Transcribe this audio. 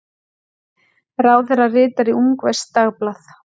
Ráðherra ritar í ungverskt dagblað